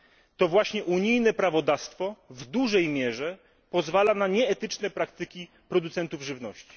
To właśnie unijne prawodawstwo w dużej mierze pozwala na nieetyczne praktyki producentów żywności.